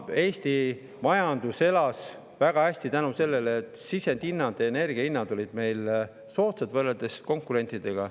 Eesti majandus elas väga hästi tänu sellele, et sisendhinnad, energia hinnad olid meil soodsad võrreldes konkurentidega.